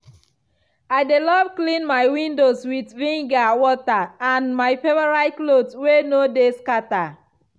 i dey love clean my windows with vinegar water and my favourite cloth wey no de scatter.